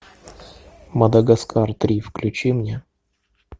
мадагаскар три включи мне